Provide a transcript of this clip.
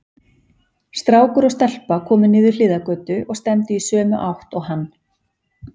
Strákur og stelpa komu niður hliðargötu og stefndu í sömu átt og hann.